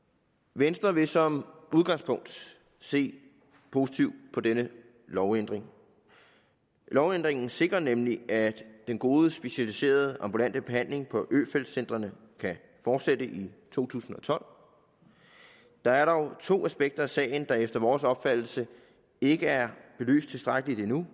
venstre vil som udgangspunkt se positivt på denne lovændring lovændringen sikrer nemlig at den gode specialiserede ambulante behandling på øfeldt centrene kan fortsætte i to tusind og tolv der er dog to aspekter i sagen der efter vores opfattelse ikke er belyst tilstrækkeligt endnu